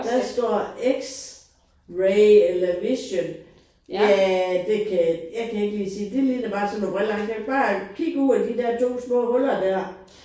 Der står x ray eller vision. Ja det kan jeg jeg kan ikke lige sige det det ligner bare sådan noget briller bare kig ud af de 2 små huller der